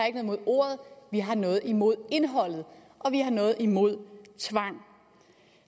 imod ordet vi har noget imod indholdet og vi har noget imod tvang